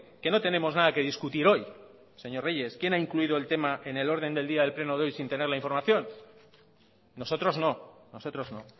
que no tenemos nada que discutir hoy señor reyes quién ha incluido el tema en el orden del día del pleno de hoy sin tener la información nosotros no nosotros no